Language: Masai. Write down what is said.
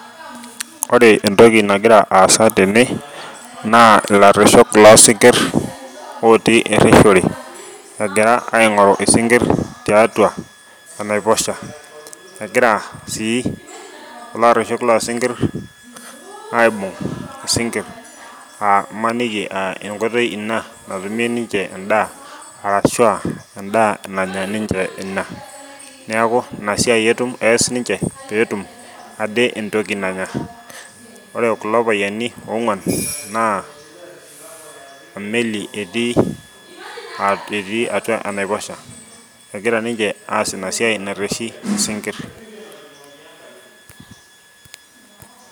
Ore entoki nagira aasa tene naa ilareshok losinkir otii ereshore egira aing'oru isinkir tiatua enaiposha egira sii kulo areshok losinkir aibung isinkir uh imaniki uh enkoitoi ina natumie ninche endaa arashua endaa nanya ninche ina neku ina siai etum ees ninche peetum ade entoki nanya ore kulo payiani ong'uan naa emeli etii etii atua enaiposha egira ninche aas ina siai nareshi isinkir.